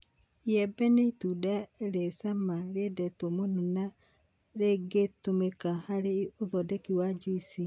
Iembe nĩ itunda rĩ cama rĩendetwo mũno na rĩngĩtũmĩka harĩ ũthondeki wa juici.